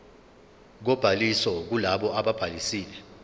kobhaliso kulabo ababhalisile